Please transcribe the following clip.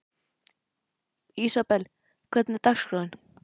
Ísabel, hvernig er dagskráin?